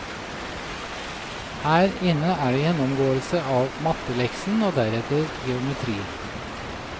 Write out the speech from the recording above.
Her inne er det gjennomgåelse av matteleksen og deretter geometri.